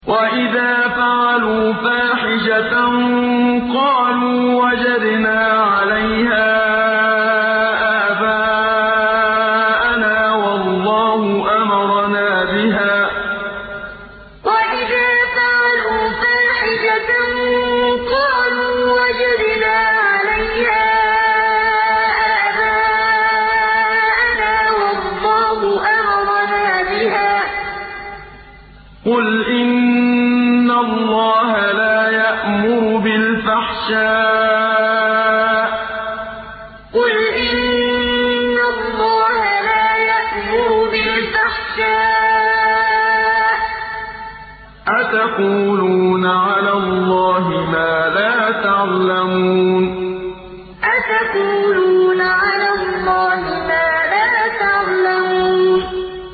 وَإِذَا فَعَلُوا فَاحِشَةً قَالُوا وَجَدْنَا عَلَيْهَا آبَاءَنَا وَاللَّهُ أَمَرَنَا بِهَا ۗ قُلْ إِنَّ اللَّهَ لَا يَأْمُرُ بِالْفَحْشَاءِ ۖ أَتَقُولُونَ عَلَى اللَّهِ مَا لَا تَعْلَمُونَ وَإِذَا فَعَلُوا فَاحِشَةً قَالُوا وَجَدْنَا عَلَيْهَا آبَاءَنَا وَاللَّهُ أَمَرَنَا بِهَا ۗ قُلْ إِنَّ اللَّهَ لَا يَأْمُرُ بِالْفَحْشَاءِ ۖ أَتَقُولُونَ عَلَى اللَّهِ مَا لَا تَعْلَمُونَ